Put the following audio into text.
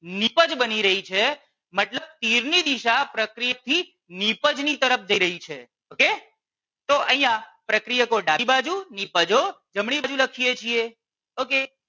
નીપજ બની રહી છે. મતલબ તીર ની દિશા પ્રક્રિયક થી નિપજ ની તરફ જઈ રહી છે okay તો અહિયાં પ્રક્રિયકો ડાબી બાજુ નીપજો જમણી બાજુ લખીએ છીએ okay